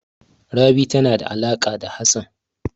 Rabi tana da alaƙa da Hassan.